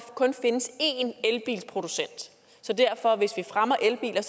kun findes en elbilsproducent så derfor hvis vi fremmer elbiler